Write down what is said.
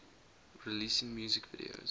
releasing music videos